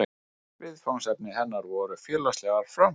Viðfangsefni hennar voru félagslegar framfarir.